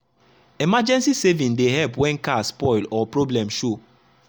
emergency savings dey help when car spoil or problem show.